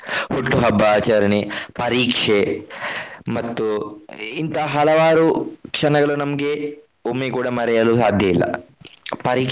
ಹುಟ್ಟು ಹಬ್ಬ ಆಚರಣೆ ಪರೀಕ್ಷೆ ಮತ್ತು ಇಂಥ ಹಲವಾರು ಕ್ಷಣಗಳು ನಮ್ಗೆ ಒಮ್ಮೆ ಕೂಡ ಮರೆಯಲು ಸಾಧ್ಯ ಇಲ್ಲ.